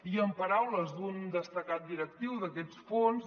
i en paraules d’un destacat directiu d’aquests fons